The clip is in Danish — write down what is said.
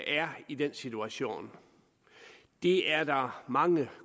er i den situation det er der mange